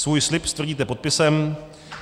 Svůj slib stvrdíte podpisem.